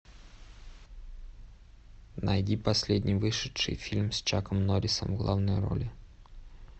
найди последний вышедший фильм с чаком норрисом в главной роли